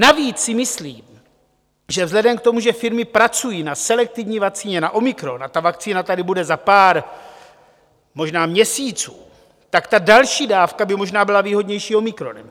Navíc si myslím, že vzhledem k tomu, že firmy pracují na selektivní vakcíně na omikron, a ta vakcína tady bude za pár možná měsíců, tak ta další dávka by možná byla výhodnější omikronem.